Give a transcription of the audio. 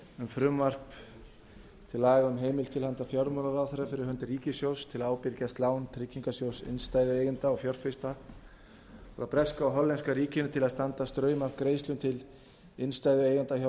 frumvarp til laga um heimild til handa fjármálaráðherra fyrir hönd ríkissjóðs til að ábyrgjast lán tryggingarsjóðs innstæðueigenda og fjárfesta frá breska og hollenska ríkinu til að standa straum af greiðslum til innstæðueigenda hjá